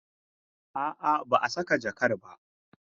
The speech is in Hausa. A'a, ba a saka jakar ba.